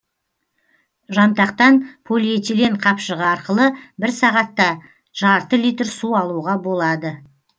жантақтан полиэтилен қапшығы арқылы бір сағатта жарты литр су алуға болады